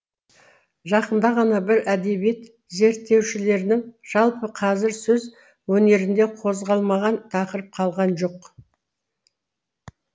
жақында ғана бір әдебиет зерттеушілерінің жалпы қазір сөз өнерінде қозғалмаған тақырып қалған жоқ